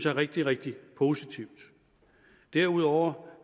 er rigtig rigtig positivt derudover